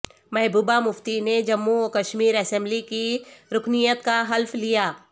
محبوبہ مفتی نے جموں و کشمیر اسمبلی کی رکنیت کاحلف لیا